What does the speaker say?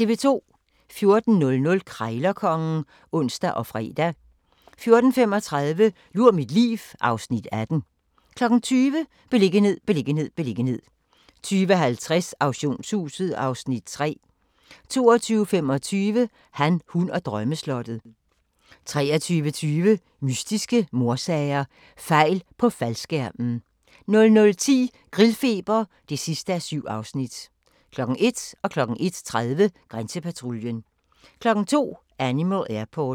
14:00: Krejlerkongen (ons og fre) 14:35: Lur mit liv (Afs. 18) 20:00: Beliggenhed, beliggenhed, beliggenhed 20:50: Auktionshuset (Afs. 3) 22:25: Han, hun og drømmeslottet 23:20: Mystiske mordsager: Fejl på faldskærmen 00:10: Grillfeber (7:7) 01:00: Grænsepatruljen 01:30: Grænsepatruljen 02:00: Animal Airport